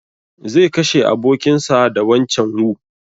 Zai kashe abokin sa da wancan wu